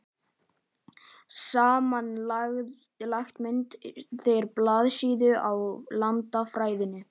Samanlagt mynda þeir blaðsíðu í landafræðinni.